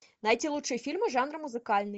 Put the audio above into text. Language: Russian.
найти лучшие фильмы жанра музыкальный